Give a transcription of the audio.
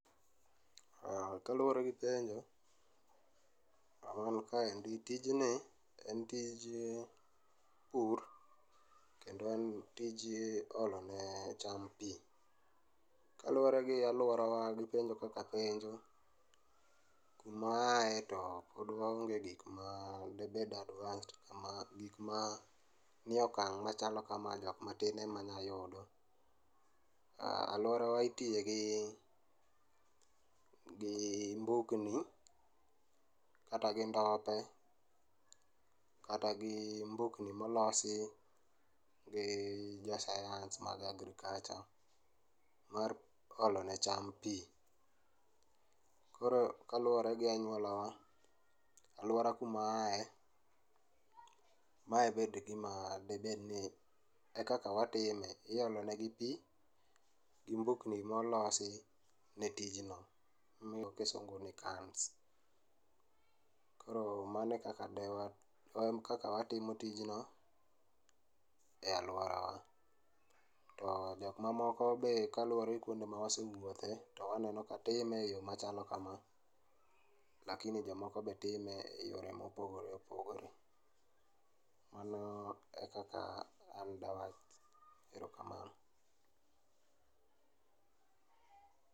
Kaluore gi gwengewa, gima nikaendi, tijni en tij pur kendo en tij olo ne cham pii. Kaluore gi aluorawa gi penjo kaka penjo, kuma aaye to pod waonge gi gik ma debed advanced kama, gikma nie okang' machalo kama, jokma tin ema nyalo yudo. Aluorawa itiye gi mbugni kata gi ndope kata gi mbukni molosi gi jo sayans mag agriculture mar olo ne cham pii. Koro kaluore gi anyuola wa, aluora kuma aaye, mae bed gima, debedni e kaka watime, iolo negi pi gi mbukni molosi ne tijno gi kisungu ni cans. Koro mano e kaka de wa, ekaka watimo tijno e aluorawa. To jokma moko be kaluore gi kuonde ma wasewuothe waneno ka time e yoo machalo kama lakini jomoko be time e yore mopogore opogore. Mano e kaka an dawach, erokamano